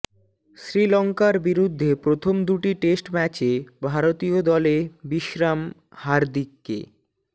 শ্রীলঙ্কার বিরুদ্ধে প্রথম দুটি টেস্ট ম্যাচে ভারতীয় দলে বিশ্রাম হার্দিককে